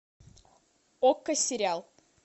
окко сериал